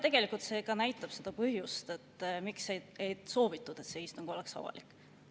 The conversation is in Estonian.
Tegelikult näitab see seda põhjust, miks ei soovitud, et see istung oleks avalik.